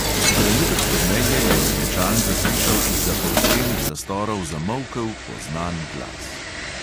Trenutek pozneje je benečan zaslišal izza polstenih zastorov zamolkel, poznan glas.